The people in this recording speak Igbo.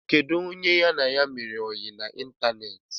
Kedụ onye ya na ya mere oyi na ịntanetị?